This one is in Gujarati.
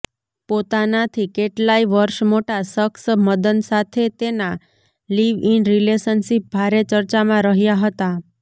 પોતાનાથી કેટલાય વર્ષ મોટા શખ્સ મદન સાથે તેના લિવ ઈન રિલેશનશિપ ભારે ચર્ચામાં રહ્યા હતા